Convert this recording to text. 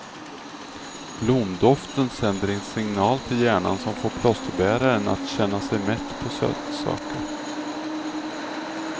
Blomdoften sänder en signal till hjärnan, som får plåsterbäraren att känna sig mätt på sötsaker.